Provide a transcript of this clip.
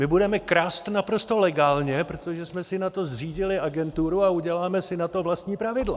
My budeme krást naprosto legálně, protože jsme si na to zřídili agenturu a uděláme si na to vlastní pravidla.